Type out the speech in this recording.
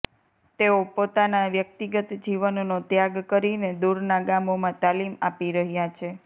તેઓ પોતાના વ્યક્તિગત જીવનનો ત્યાગ કરીને દુરના ગામોમાં તાલીમ આપી રહ્યા છે